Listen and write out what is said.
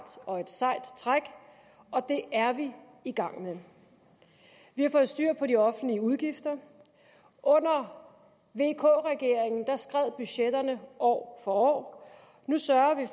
sejt træk og det er vi i gang med vi har fået styr på de offentlige udgifter under vk regeringen skred budgetterne år for år nu sørger vi